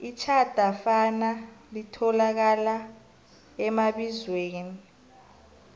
itjhadafana litholakala emabizweni